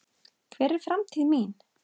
Hver er framtíð mín?